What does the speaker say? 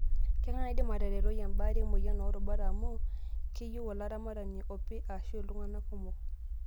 Kengae naidim ataretoi embaare emoyian oorubat amu keyieu olaramatani opi aashu iltung'ana kumok.